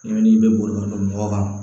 I bɛ n'i bɛ boli ka n don mɔgɔ kan